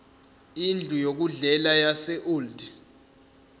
indlu yokudlela yaseold